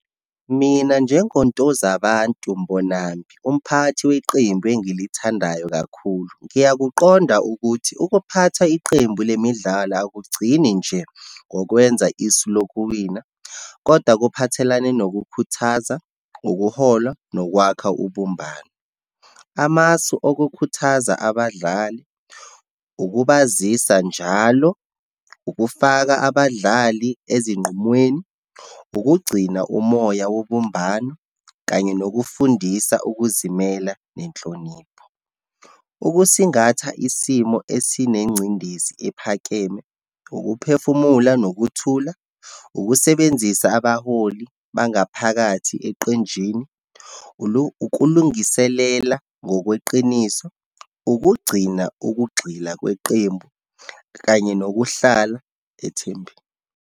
Mina, njengoNtozabantu Mbonambi, umphathi weqembu engilithandayo kakhulu. Ngiyakuqonda ukuthi ukuphatha iqembu lemidlalo akugcini nje ngokwenza isu lokuwina, kodwa kuphathelane nokukhuthaza, ukuhola, nokwakha ubumbano. Amasu okukhuthaza abadlali, ukubazisa njalo, ukufaka abadlali ezinqumweni, ukugcina umoya wobumbano, kanye nokufundisa ukuzimela, nenhlonipho. Ukusingatha isimo esinengcindezi ephakeme, ukuphefumula nokuthula, ukusebenzisa abaholi bangaphakathi eqenjini, ukulungiselela ngokweqiniso, ukugcina ukugxila kweqembu, kanye nokuhlala ethembeni.